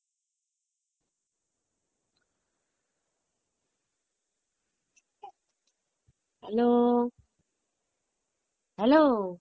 hello! hello!